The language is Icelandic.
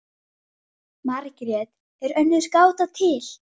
Hvað viltu?